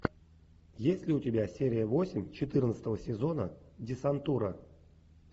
есть ли у тебя серия восемь четырнадцатого сезона десантура